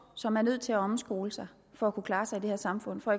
som er nødt til at omskole sig for at kunne klare sig i det her samfund for